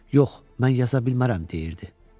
Yox, mən yaza bilmərəm, deyirdi.